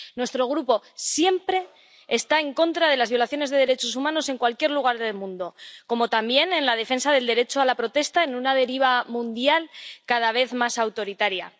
Nuestro Grupo siempre está en contra de la violación de los derechos humanos en cualquier lugar del mundo, como también a favor de la defensa del derecho a la protesta en una deriva mundial cada vez más autoritaria.